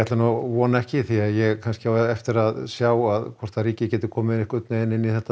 vona ekki ég á eftir að sjá hvort ríkið geti komið inn í þetta